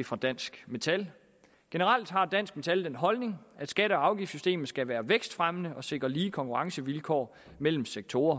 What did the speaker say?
er fra dansk metal generelt har dansk metal den holdning at skatte og afgiftssystemet skal være vækstfremmende og sikre lige konkurrencevilkår mellem sektorer